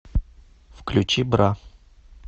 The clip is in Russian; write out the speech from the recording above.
включи бра